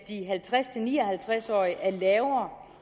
de halvtreds til ni og halvtreds årige er lavere